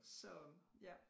Så ja